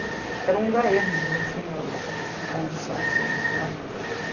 Porque era um lugar ermo, não tinha condução, assim, regularmente.